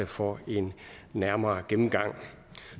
for en nærmere gennemgang